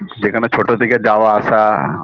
যেখানে ছোট থেকে যাওয়া আসা